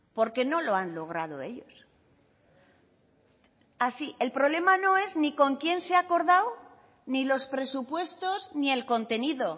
porque no lo han logrado ellos así el problema no es ni con quién se ha acordado ni los presupuestos ni el contenido